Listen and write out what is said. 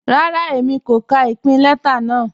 Rárá, Èmi kò kà ìpìn lẹta náà.